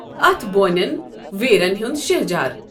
اَتھ بونؠن ویرؠن ہُند شہؠجار۔